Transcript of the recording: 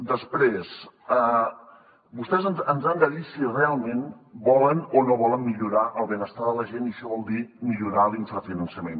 després vostès ens han de dir si realment volen o no volen millorar el benestar de la gent i això vol dir millorar l’infrafinançament